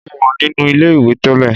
Mo wà nínú ilé-ìwẹ̀ tẹ́lẹ̀